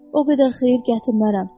O qədər xeyir gətirmərəm.